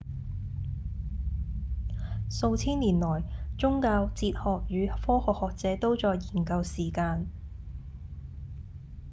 數千年來宗教、哲學與科學學者都在研究時間